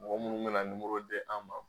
Mɔgɔ munnu bɛna di an ma.